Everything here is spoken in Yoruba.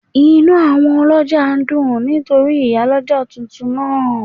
Inú àwọn ọlọ́jà ń dùn nítorí Ìyálọ́jà tuntun náà